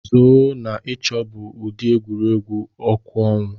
zoo na ịchọ bụ ụdị egwuregwu ọkụ ọnwa.